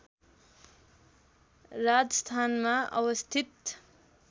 राजस्थानमा अवस्थित